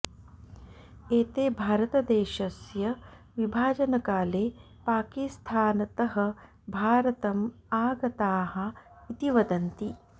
एते भारतदेशस्य विभाजनकाले पाकिस्थानतः भारतम् आगताः इति वदन्ति